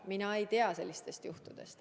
Mina ei tea sellistest juhtumitest.